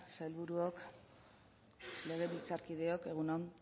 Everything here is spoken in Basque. sailburuok legebiltzarkideok egun on